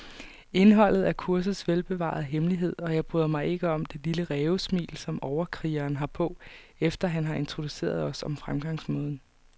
Indholdet er kursets velbevarede hemmelighed, og jeg bryder mig ikke om det lille rævesmil, som overkrigeren har på, efter han har introduceret os om fremgangsmåden.